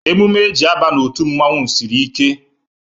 Emume e ji e a ba n'otu mmanwu sịrị ike